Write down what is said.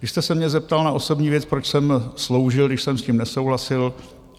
Když jste se mě zeptal na osobní věc, proč jsem sloužil, když jsem s tím nesouhlasil?